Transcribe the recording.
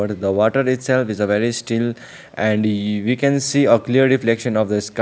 but the water itself is a very still and e we can see a clear reflection of the sk --